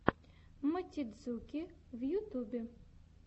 мотидзуки в ютубе